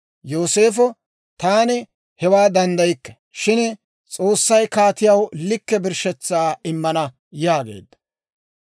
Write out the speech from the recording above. Yooseefo, «Taani hewaa danddaykke; shin S'oossay kaatiyaw likke birshshetsaa immana» yaageedda.